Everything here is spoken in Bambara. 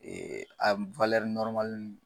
a